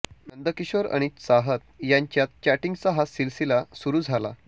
नंदकिशोर आणि चाहत यांच्यात चॅटिंगचा हा सिलसिला सुरु झाला